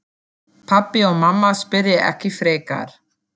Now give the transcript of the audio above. Pabbi og mamma spyrja ekki frekar.